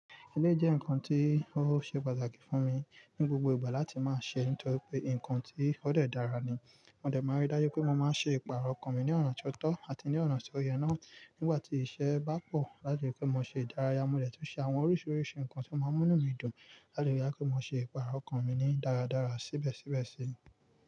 Eleyi jẹ́ nǹkan tí ó ṣe pàtàkì fún mi ní gbogbo ìgbà láti máa se nítorí pé nǹkan tí ó dẹ̀ dára ni. Mo dẹ̀ máa ń rí dáju pé mo máa ń ṣe ìpààrọ̀ okàn mi ní ọ̀na tio tọ́ àti ní ọ̀na tí oyè náà nígbà tí iṣẹ́ bá pọ̀ láti lè ripe mo ṣe ìdárayá. Mo dẹ̀ tú n ṣe àwọn oríṣiríṣi nǹkan tí ó máa ń mú inu mi dùn láti lè rí pé mo ṣe ìpààrọ̀ okàn mi ní dáradára síbẹ̀síbẹ̀ sí.